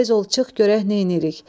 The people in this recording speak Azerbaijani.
Tez ol çıx görək neynirik.